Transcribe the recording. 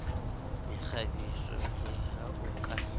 mekgabiso le ha o ka